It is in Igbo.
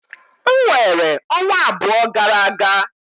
M weere ọnwa abụọ gara aga.